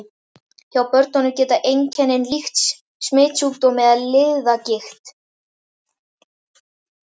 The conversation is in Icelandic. Hjá börnum geta einkennin líkst smitsjúkdómi eða liðagigt.